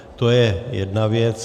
To je jedna věc.